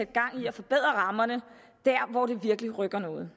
gang i at forbedre rammerne der hvor det virkelig rykker noget